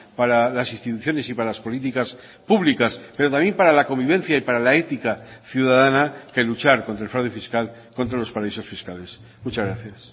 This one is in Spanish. para las instituciones y para las políticas públicas pero también para la convivencia y para la ética ciudadana que luchar contra el fraude fiscal contra los paraísos fiscales muchas gracias